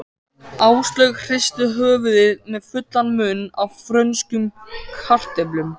Áslaug hristi höfuðið með fullan munn af frönskum kartöflum.